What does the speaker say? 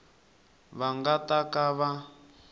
va nga ta ka va